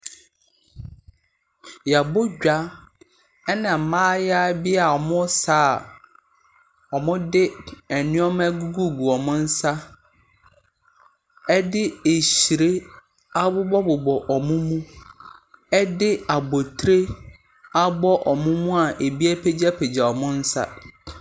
Yɛabɔ dwa ɛna mmaayaa bi a wɔresa a wɔde nneɛma agugu wɔn nsa. Ɛde hyire abobɔbobɔ wɔn mu. Ɛde abotire abo wɔn mu a ebi apegyapegya wɔn nsa.